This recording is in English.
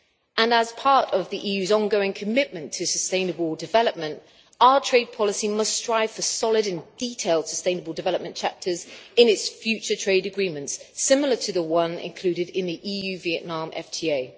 And as part of the EU's ongoing commitment to sustainable development, our trade policy must strive for solid and detailed sustainable development chapters in its future trade agreements, similar to the one included in the EU Vietnam FTA.